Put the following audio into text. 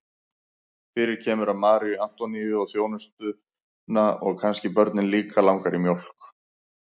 Fyrir kemur að Maríu Antoníu og þjónustuna og kannski börnin líka langar í mjólk.